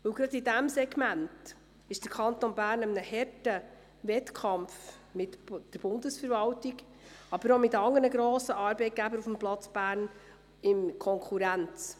Gerade in diesem Segment steht der Kanton Bern in einem harten Wettkampf mit der Bundesverwaltung, aber er steht auch mit anderen grossen Arbeitgebern auf dem Platz Bern in Konkurrenz.